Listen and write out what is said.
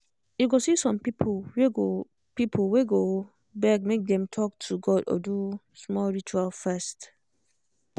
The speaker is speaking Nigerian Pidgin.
you go see some people wey go people wey go beg make dem talk to god or do small ritual first.